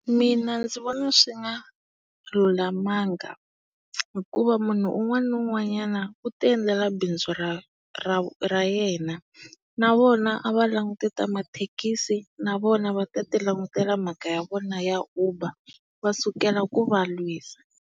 Mina ndzi vona swi nga lulamanga hikuva munhu un'wana ni un'wanyana u ti endlela bindzu ra ra ra yena. Na vona a va languti ta mathekisi, na vona va ta ti langutela mhaka ya vona ya Uber va sukela ku va lwisa.